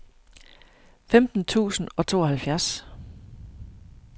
femten tusind og tooghalvfjerds